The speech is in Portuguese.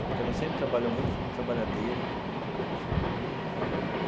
Porque ela sempre trabalhou muito e foi muito trabalhadeira muito assim né.